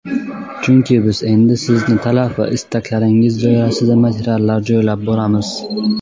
Chunki biz endi Sizlarning talab va istaklaringiz doirasida materiallar joylab boramiz.